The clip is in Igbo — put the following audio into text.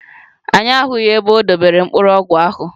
Anyị ahụghị ebe o dobere mkpụrụ ọgwụ ahụ.